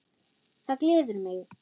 Það gleður mig.